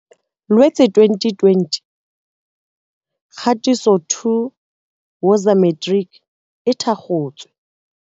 Loetse 2020 Kgatiso 2 Woza Matrics e thakgotswe.